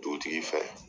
Dugutigi fɛ